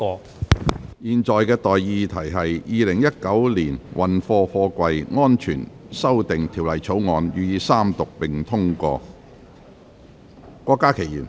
我現在向各位提出的待議議題是：《2019年運貨貨櫃條例草案》予以三讀並通過。